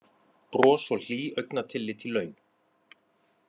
Bros og hlý augnatillit í laun